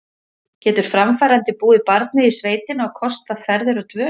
Getur framfærandi búið barnið í sveitina og kostað ferðir og dvöl?